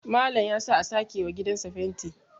Malam ya sa a sake wa gidansa fenti